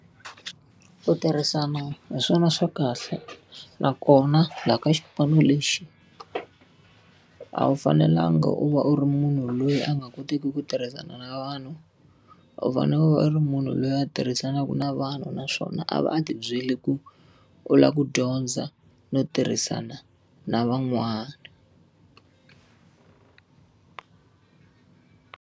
Ku tirhisana hi swona swa kahle nakona laha ka xipano lexi, a wu fanelanga u va u ri munhu loyi a nga koteki ku tirhisana na vanhu. U fanele u va u ri munhu loyi a tirhisanaka na vanhu naswona a va a ti byele ku u lava ku dyondza no tirhisana na van'wana.